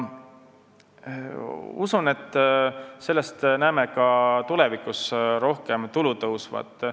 Usun, et näeme sellest tulevikus veel rohkem tulu tõusvat.